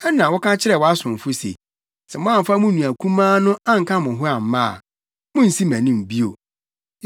Ɛnna woka kyerɛɛ wʼasomfo se. ‘Sɛ moamfa mo nua kumaa no anka mo ho amma a, munnsi mʼanim bio.’